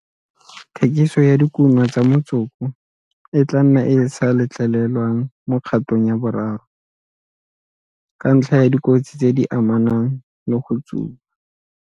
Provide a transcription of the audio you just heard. Thekiso ya dikuno tsa motsoko e tla nna e sa letlelelwa mo kgatong ya boraro, ka ntlha ya dikotsi tse di amanang le go tsuba.